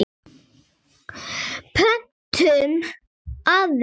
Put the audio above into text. Pöntum aðra.